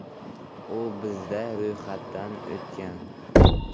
U bizda ro‘yxatdan o‘tgan.